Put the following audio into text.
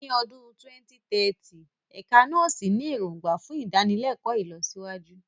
Ní ọdún 2030, Ẹ̀ka Nọ́ọ̀sì ní èrògbà fún ìdánilẹ́kọ̀ọ́ ìlọsíwájú.